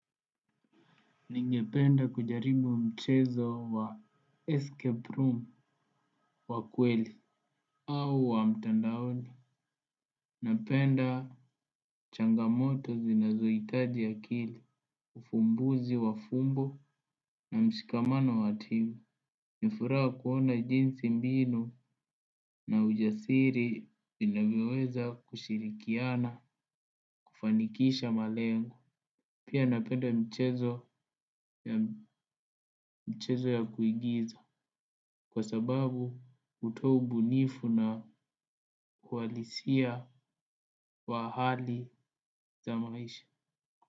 Ningependa kujaribu mchezo wa escape room wa kweli au wa mtandaoni. Napenda changamoto zinazohitaji akili, ufumbuzi wa fumbo na mshikamano wa timu. Nifuraha kuona jinsi mbinu na ujasiri vinavyoweza kushirikiana kufanikisha malengo. Pia napenda michezo ya kuigiza kwa sababu kutoa ubunifu na uhalisia wa hali za maisha.